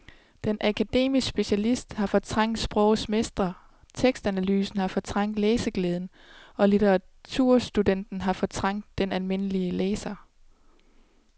Den akademiske specialist har fortrængt sprogets mester, tekstanalysen har fortrængt læseglæden og litteraturstudenten har fortrængt den almindelige læser.